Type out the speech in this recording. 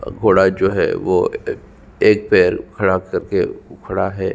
घोडा जो है वो एक पैर खड़ा कर के उखड़ा है।